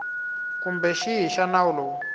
kumbe xihi xa nawu lowu